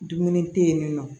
Dumuni te yen nin nɔ